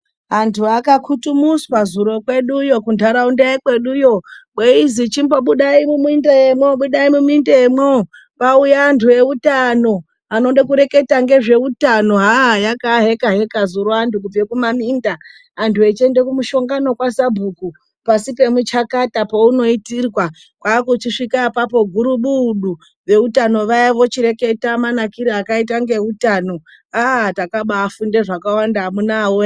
Vandu vakakutumuswa zuro kwedu iyo kundaraunda yekwedu veizi chimbobudai muminda chimbobudai muminda kwauya andu eutano anode kureketa nezvehutano. Hah, yakaaheka heka vandu kubva kumaminda andu achienda kumushangano kwasabhuku pasi pomuchakata paunoitirwa. Kwaakuchisvika apapo gurubudu veutano vaya vochireketa manakiro akaita ngoutano. Takaabafunda zvakawanda amunawe.